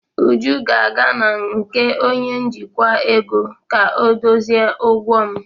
Uju ga-aga na nke onye njikwa ego ka ọdozie ụgwọ m.